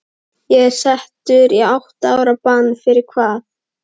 Ég er settur í átta ára bann- fyrir hvað?